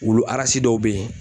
Wulu dɔw be yen